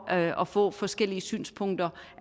at at få forskellige synspunkter